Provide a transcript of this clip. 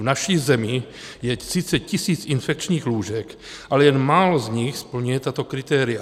V naší zemi je 30 tisíc infekčních lůžek, ale jen málo z nich splňuje tato kritéria.